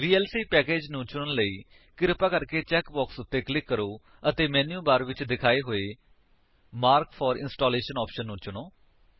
VLC package ਨੂੰ ਚੁਣਨ ਲਈ ਕਿਰਪਾ ਕਰਕੇ ਚੈਕ ਬਾਕਸ ਉੱਤੇ ਕਲਿਕ ਕਰੋ ਅਤੇ ਮੈਨਿਊ ਬਾਰ ਵਿਚ ਦਿਖਾਏ ਹੋਏ ਮਾਰਕ ਫੋਰ ਇੰਸਟਾਲੇਸ਼ਨ ਆਪਸ਼ਨ ਨੂੰ ਚੁਣੋ